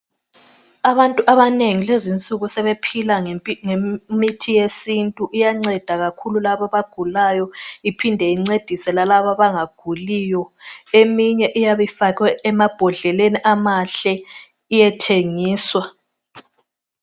Abantu abanengi kulezinsuku sebephila ngemithi yesintu. Iyanceda kakhulu labo abagulayo iphinde incedise lalabo abangaguliyo. Eminye iyabe ifakwe emambodleleni amahle iyethengiswa.